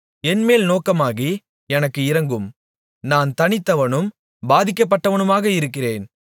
என்மேல் நோக்கமாகி எனக்கு இரங்கும் நான் தனித்தவனும் பாதிக்கப்பட்டவனுமாக இருக்கிறேன்